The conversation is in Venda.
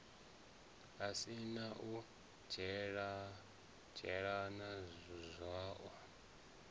si na u dzhenelela zwiwo